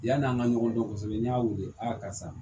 Yann'an ka ɲɔgɔn dɔn kɔsɔbɛ n y'a weele karisa